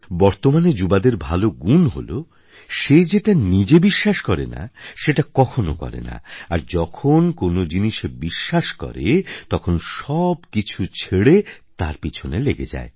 বর্তমানের যুবাদের ভাল গুণ হলো সে যেটা নিজে বিশ্বাস করে না সেটা কখনো করে না আর যখন কোনো জিনিসে বিশ্বাস করে তখন সব কিছ ছেড়ে তার পিছনে লেগে যায়